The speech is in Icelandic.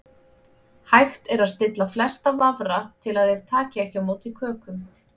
Hægt er að stilla flesta vafra til að þeir taki ekki á móti kökum.